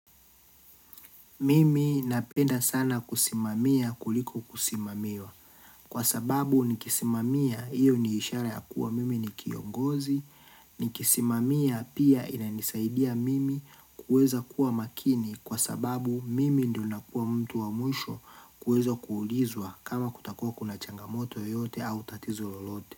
Mimi napenda sana kusimamia kuliko kusimamiwa. Kwa sababu nikisimamia, hiyo ni ishara ya kuwa mimi ni kiongozi. Nikisimamia pia inanisaidia mimi kuweza kuwa makini kwa sababu mimi ndo nakuwa mtu wa mwisho kuweza kuulizwa kama kutakua kuna changamoto yote au tatizo lolote.